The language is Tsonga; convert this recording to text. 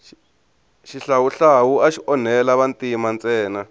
xihlawuhlawu axi onhela vantima ntsena